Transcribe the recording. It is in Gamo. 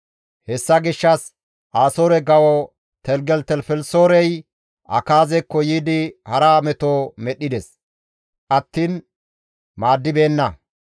Hessa gishshas Asoore kawo Teligelitelifelisoorey Akaazekko yiidi hara meto medhdhides attiin maaddibeenna.